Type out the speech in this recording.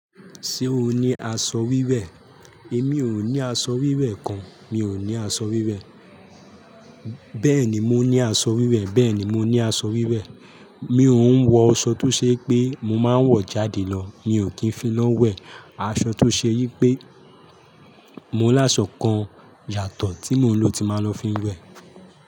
Ṣé o ní aṣọ wíwẹ̀? Èmi ò ní aṣọ wíwẹ̀ kan. Mi ò ní aṣọ wíwẹ̀. Bẹ́ẹ̀ ni, mo ní aṣọ wíwẹ̀. Bẹ́ẹ̀ni mo ní aṣọ wíwẹ̀. Mi ò ń wọ aṣọ tó ṣe pé mo máa ń wọ̀ jáde lọ. Mi ò kí ń fi lọ wẹ̀. Aṣọ tó ṣe yí pé mo láṣọ kan yàtọ̀ tí mo ń lò ti máa ń lọ fi ń wẹ̀.